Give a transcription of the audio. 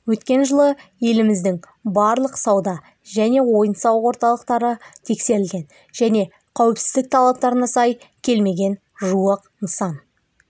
өткен жылы еліміздің барлық сауда және ойын-сауық орталықтары тексерілген және қауіпсіздік талаптарына сай келмеген жуық нысан